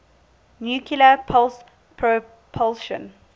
nuclear pulse propulsion